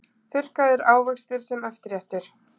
Þurrkaðir ávextir sem eftirréttur